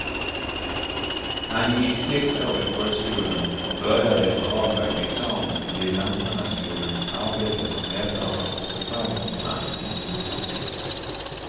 Han gick sex år i folkskolan och började efter avlagd examen vid lantmannaskolan arbeta som rättare och befallningsman inom jordbruket.